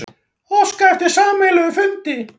Óska eftir sameiginlegum fundi